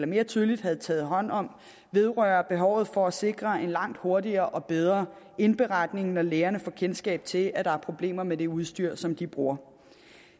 mere tydeligt havde taget hånd om vedrører behovet for at sikre en langt hurtigere og bedre indberetning når lægerne får kendskab til at der er problemer med det udstyr som de bruger